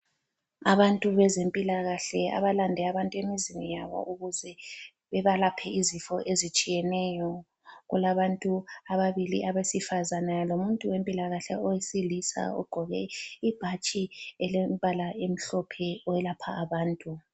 Abantu bezempilakahle abalande abantu emizini yabo ukuze bebalaphe izifo ezitshiyeneyo. Kulabantu ababili abesifazana lomuntu wempilakahle owesilisa ogqoke ibhatshi elombala omhlophe owelapha abantu.